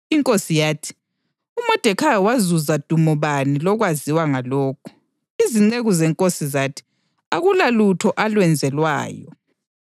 Inkosi yathi, “UModekhayi wazuza dumo bani lokwaziwa ngalokhu?” Izinceku zenkosi zathi, “Akulalutho alwenzelwayo.”